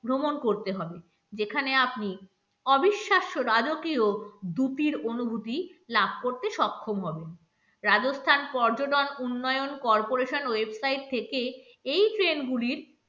ভ্রমণ করতে হবে যেখানে আপনি অবিশ্বাস্য রাজকীয় দ্রুতির অনুভূতি লাভ করতে সক্ষম হবেন রাজস্থান, পর্যটন, উন্নয়ন, corporation website থেকে এই train গুলির